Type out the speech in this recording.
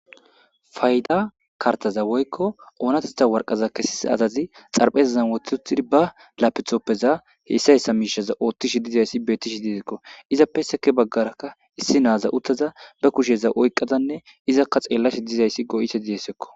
Fayda karttaza woykko oonatetha waraqaataza kessiza asi xarapheezzan wothi uttidi ba laapitooppezan hessa hessa miisheza oothishe dizayssi beettishe dizayssako.izappe sekki baggarakka issi naaza uttadanne be kusheza oyqqada izakka xeellashe dizayssi go7izayssakko.